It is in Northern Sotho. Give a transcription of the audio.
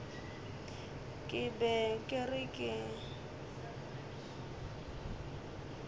ke be ke re ke